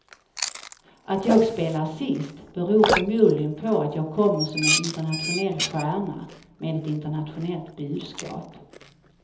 Att jag spelar sist beror förmodligen på att jag kommer som en internationell stjärna med ett internationellt budskap.